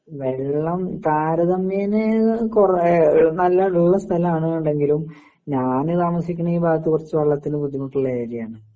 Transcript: വെള്ളം താരതമ്യേനെ കുറെ നല്ല ഉള്ള സ്ഥലാണ് എന്നുണ്ടെങ്കിലും ഞാന് താമസിക്കുന്ന ഭാഗത്ത് വെള്ളത്തിന് ബുദ്ധിമുട്ടുള്ള ഏരിയ ആണ് .